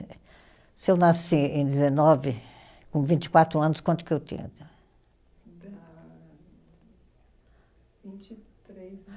Eh, se eu nasci em dezenove, com vinte e quatro anos, quanto que eu tinha? Dá vinte e três